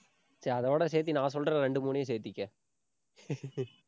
சரி, அதோட சேர்த்து நான் சொல்ற ரெண்டு, மூணையும் சேர்த்துக்க.